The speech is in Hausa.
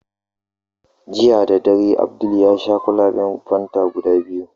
Jiya dadare, Abdul yasha kwalaben fanta guda biyu.